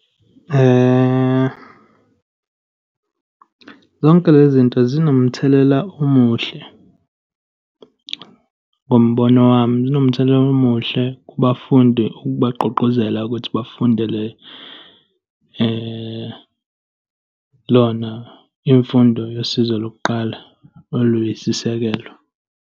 Zonke le zinto zinomthelela omuhle, ngombono wami, zinomthelela omuhle kubafundi, ukubagqugquzela ukuthi bafundele yona imfundo yosizo lokuqala, oluyisisekelo.